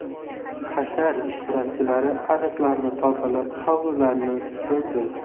Hashar ishtirokchilari ariqlarni tozalab, hovlilarni supurdi.